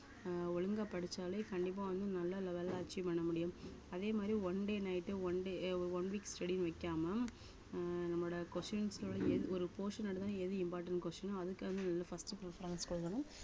அஹ் ஒழுங்கா படிச்சாலே கண்டிப்பா வந்து நல்ல level அ achieve பண்ண முடியும் அதே மாதிரி one day night உ one day ~ay one week study ன்னு வைக்காம ஆஹ் நம்மளோட questions ஓட என் ஒரு portion எடுத்தா எது important question அதுக்கான first preference கொடுக்கணும்